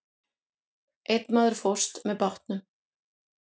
Einn maður fórst með bátnum.